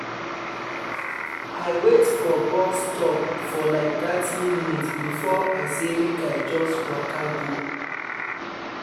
i wait for bus stop for like thirty minutes before i say make i just waka go